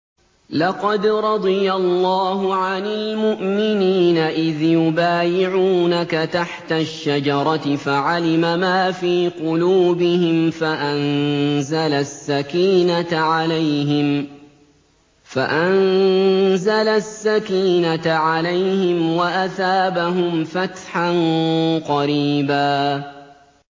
۞ لَّقَدْ رَضِيَ اللَّهُ عَنِ الْمُؤْمِنِينَ إِذْ يُبَايِعُونَكَ تَحْتَ الشَّجَرَةِ فَعَلِمَ مَا فِي قُلُوبِهِمْ فَأَنزَلَ السَّكِينَةَ عَلَيْهِمْ وَأَثَابَهُمْ فَتْحًا قَرِيبًا